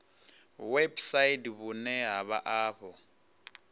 website vhune ha vha afho